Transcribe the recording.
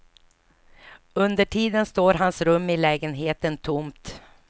Under tiden står hans rum i lägenheten tomt.